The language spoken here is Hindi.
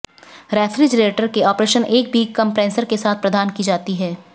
रेफ्रिजरेटर के ऑपरेशन एक भी कंप्रेसर के साथ प्रदान की जाती है